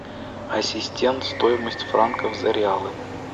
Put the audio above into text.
ассистент стоимость франков за реалы